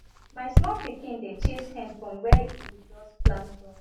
my small pikin dey chase hen from where we just plant crop